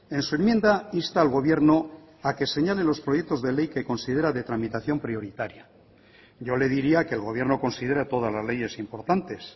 en su enmienda insta al gobierno a que señale los proyectos de ley que considera de tramitación prioritaria yo le diría que el gobierno considera todas las leyes importantes